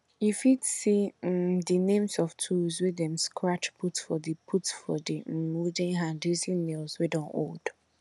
you fit see um the names of tools wey dem scratch put for the put for the um wooden hand using nails wey don old